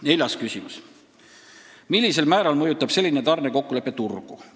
" Neljas küsimus: "Millisel määral mõjutab selline tarnekokkulepe turgu?